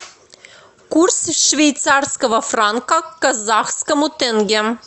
курс швейцарского франка к казахскому тенге